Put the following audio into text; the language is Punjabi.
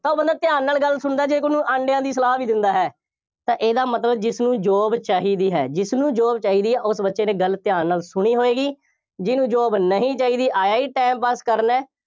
ਤਾਂ ਉਹ ਬੰਦਾ ਧਿਆਨ ਨਾਲ ਗੱਲ ਸੁਣਦਾ ਹੈ ਜੇ ਕੋਈ ਉਹਨੂੰ ਅੰਡਿਆਂ ਦੀ ਸਲਾਹ ਵੀ ਦਿੰਦਾ ਹੈ। ਤਾਂ ਇਹਦਾ ਮਤਲਬ ਜਿਸਨੂੰ job ਚਾਹੀਦੀ ਹੈ, ਜਿਸਨੂੰ job ਚਾਹੀਦੀ ਹੈ, ਉਸ ਬੱਚੇ ਨੇ ਗੱਲ ਧਿਆਨ ਨਾਲ ਸੁਣੀ ਹੋਏਗੀ, ਜਿਹਨੂੰ job ਨਹੀਂ ਚਾਹੀਦੀ, ਆਇਆ ਹੀ time pass ਕਰਨ ਹੈ।